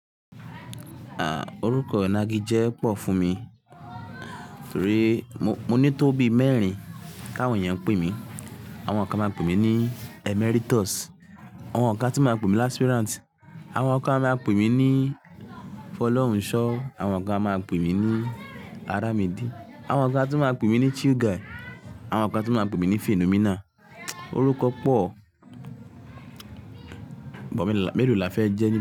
À, orúkọ inagijẹ́ pọ̀ fún mi, torí mo ní tóbi mẹ́rin ti àwọn èèyàn pè mí. Àwọn kan máa ń pè mí ní Emeritus, àwọn kan tún máa ń pè mí láspíràǹtì, àwọn kan máa ń pè mí ní Fọlọ́runṣọ́, àwọn kan máa ń pè mí ní Aramedi, àwọn kan tún máa ń pè mí ní Chill Guy, àwọn kan tún máa ń pè mí ní Phenomena. Orúkọ pọ̀, but melo là fẹ́ jẹ́ nínú.